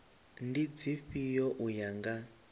ndi dzifhio u ya nga